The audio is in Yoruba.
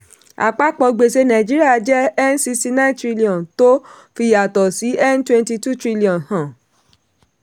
àpapọ̀ gbèsè nàìjíríà jẹ́ n sixty nine trillion tó fi ìyàtọ̀ n twenty two trillion hàn.